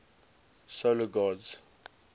solar gods